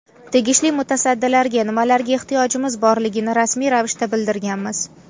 Tegishli mutasaddilarga nimalarga ehtiyojimiz borligini rasmiy ravishda bildirganmiz.